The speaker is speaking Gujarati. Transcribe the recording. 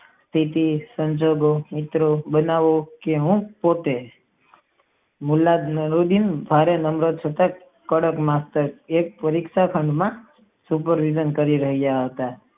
તેથી સંજોગો માં મિત્રો બનાવો કે હું પોતે કડક માત્ર પરીક્ષા માત્ર સુપરવિઝન કરી રહ્યા હતા.